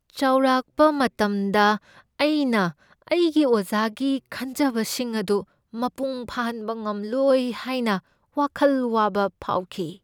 ꯆꯥꯎꯔꯛꯄ ꯃꯇꯝꯗ, ꯑꯩꯅ ꯑꯩꯒꯤ ꯑꯣꯖꯥꯒꯤ ꯈꯟꯖꯕꯁꯤꯡ ꯑꯗꯨ ꯃꯄꯨꯡ ꯐꯥꯍꯟꯕ ꯉꯝꯂꯣꯏ ꯍꯥꯏꯅ ꯋꯥꯈꯜ ꯋꯥꯕ ꯐꯥꯎꯈꯤ ꯫